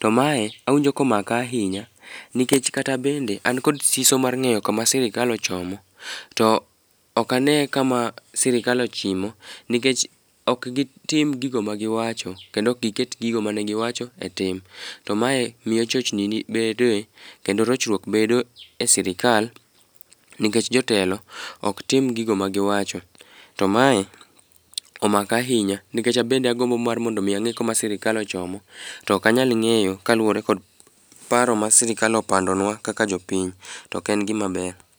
To mae awinjo komaka ahinya nikech kata bende an kod siso mar ng'eyo kama sirikal ochomo to ok ane kama sirikal ochimo nikech ok gitim gigo magiwacho, kendo ok giket gigo manegiwacho e tim. To mae miyo chochni bedoe kendo rochruok bedo e sirikal nikech jotelo ok tim gigo magiwacho. To mae omaka ahinya nikech abende agomno mar mondo omi ang'e kuma sirikal ochomo, to ok anyal ng'eyo kaluwore kod paro ma sirikal opandonwa kaka jopiny. To ok en gimaber.